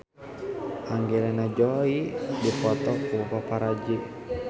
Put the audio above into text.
Angelina Jolie dipoto ku paparazi